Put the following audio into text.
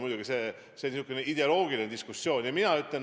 Muidugi, see ideoloogiline diskussioon on väga huvitav.